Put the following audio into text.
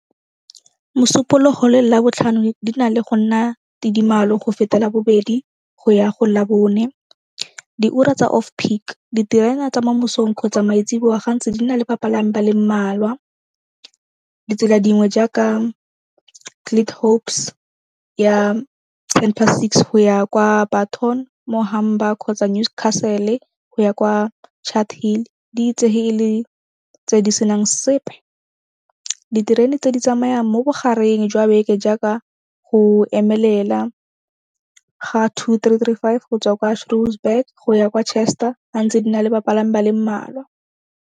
Mosupologo le Labotlhano di na le go nna tidimalo go feta Labobedi go ya go Labone. Diura tsa off-peak, diterena tsa mo mosong kgotsa maetsiboa gantsi di na le bapalami ba le mmalwa. Ditsela dingwe jaaka ya ten past six go ya kwa kgotsa Newscastle go ya kwa Chart Hill di itsege e le tse di senang sepe. Diterene tse di tsamayang mo bogareng jwa beke jaaka go emelela ga two, three, three, five, go tswa kwa go ya kwa ga ntse di na le bapalami ba le mmalwa.